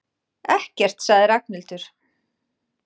Ekkert sagði Ragnhildur.